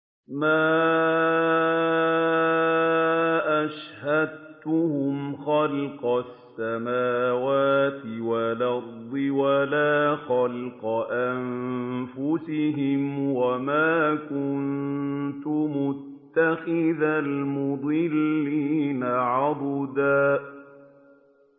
۞ مَّا أَشْهَدتُّهُمْ خَلْقَ السَّمَاوَاتِ وَالْأَرْضِ وَلَا خَلْقَ أَنفُسِهِمْ وَمَا كُنتُ مُتَّخِذَ الْمُضِلِّينَ عَضُدًا